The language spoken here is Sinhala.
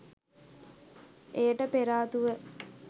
එයට පෙරාතුව